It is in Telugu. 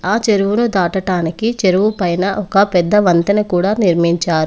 ఆ చెరువును దాటటానికి చెరువు పైన ఒక పెద్ద వంతెన కూడా నిర్మించారు.